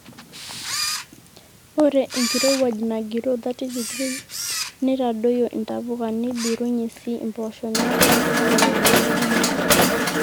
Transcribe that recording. ore enkrowuaj nagiroo 30°c neitadoyio intapuka neibirrunye sii impoosho neeku inturayie ropiyiani kumok